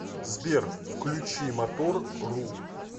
сбер включи мотор ру